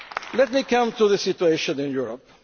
Let me turn to the situation in Europe.